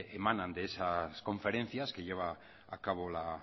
emanan de esas conferencias que lleva a cabo la